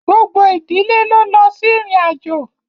Gbogbo ìdílé ló lọ sí ìrìnàjò